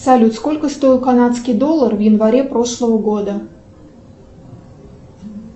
салют сколько стоил канадский доллар в январе прошлого года